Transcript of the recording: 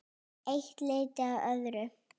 Eitt leiddi af öðru.